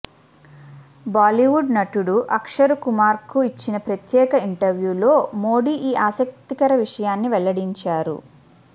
బాలీవుడ్ నటుడు అక్షరుకుమార్కు ఇచ్చిన ప్రత్యేక ఇంటర్వ్యూలో మోడీ ఈ ఆసక్తికర విషయాన్ని వెల్లడించారు